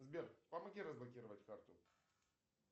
сбер помоги разблокировать карту